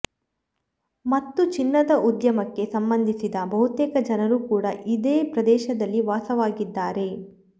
ಮತ್ತು ಚಿನ್ನದ ಉದ್ಯಮಕ್ಕೆ ಸಂಬಂಧಿಸಿದ ಬಹುತೇಕ ಜನರು ಕೂಡ ಇದೇ ಪ್ರದೇಶದಲ್ಲಿ ವಾಸವಾಗಿದ್ದಾರೆ